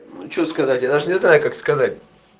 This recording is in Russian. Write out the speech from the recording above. ну что сказать я даже не знаю как сказать